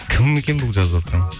кім екен бұл жазыватқан